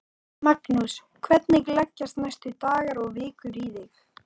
Magnús: Hvernig leggjast næstu dagar og vikur í þig?